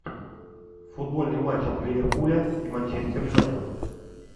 футбольный матч ливерпуля и манчестер юнайтед